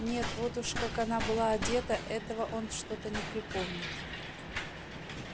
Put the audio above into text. нет вот уж как она была одета этого он что-то не припомнит